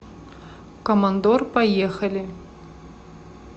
командор поехали